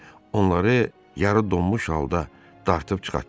Onları yarı donmuş halda dartıb çıxartdılar.